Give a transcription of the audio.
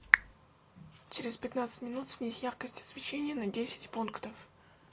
через пятнадцать минут снизь яркость освещения на десять пунктов